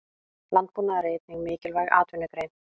Landbúnaður er einnig mikilvæg atvinnugrein.